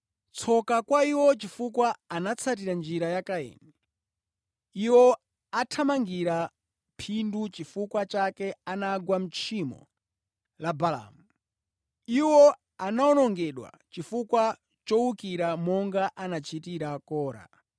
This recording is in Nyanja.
Tsoka kwa iwo chifukwa anatsatira njira ya Kaini. Iwo athamangira phindu, nʼchifukwa chake anagwa mʼtchimo la Baalamu. Iwo anawonongedwa chifukwa chowukira monga anachitira Kora.